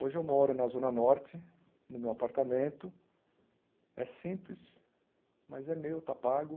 Hoje eu moro na Zona Norte, no meu apartamento, é simples, mas é meu, está pago.